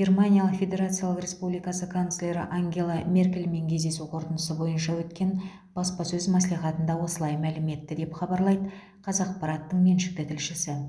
германия федерациялық республикасы канцлері ангела меркельмен кездесу қорытындысы бойынша өткен баспасөз мәслихатында осылай мәлім етті деп хабарлайды қазақпараттың меншікті тілшісі